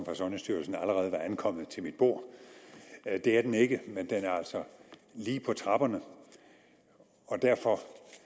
fra sundhedsstyrelsen allerede var ankommet til mit bord det er den ikke men den er altså lige på trapperne og derfor